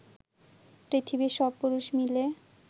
পৃথিবীর সব পুরুষ মিলে